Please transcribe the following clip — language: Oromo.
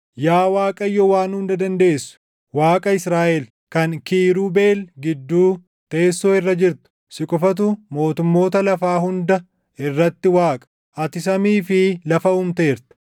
“Yaa Waaqayyo Waan Hunda Dandeessu, Waaqa Israaʼel, kan Kiirubeel gidduu teessoo irra jirtu, si qofatu mootummoota lafaa hunda irratti Waaqa. Ati samii fi lafa uumteerta.